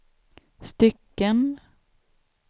stycken